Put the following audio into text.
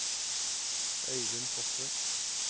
Øyvind Fosse